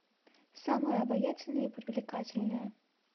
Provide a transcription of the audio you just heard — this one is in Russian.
самая обаятельная и привлекательная